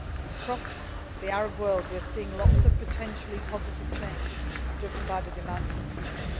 own lives. Across the Arab world, we are seeing lots of potentially positive change, driven by the demands